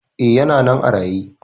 E, yana nan a raye.